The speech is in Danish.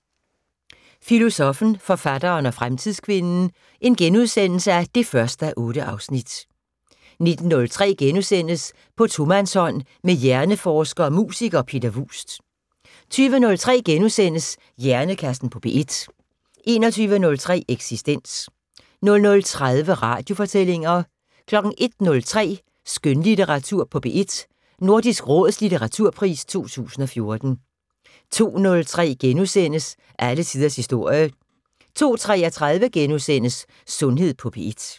18:25: Filosoffen, forfatteren og fremtidskvinden 1:8 * 19:03: På tomandshånd med hjerneforsker og musiker, Peter Vuust * 20:03: Hjernekassen på P1 * 21:03: Eksistens 00:30: Radiofortællinger 01:03: Skønlitteratur på P1: Nordisk Råds litteraturpris 2014 02:03: Alle tiders historie * 02:33: Sundhed på P1 *